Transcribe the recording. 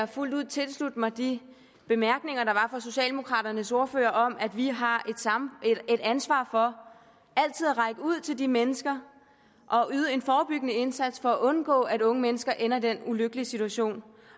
fuldt ud tilslutte mig de bemærkninger der var fra socialdemokraternes ordfører om at vi har et ansvar for altid at række hånden ud til de mennesker og yde en forebyggende indsats for at undgå at unge mennesker ender i den ulykkelige situation